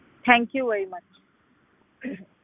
thank you very much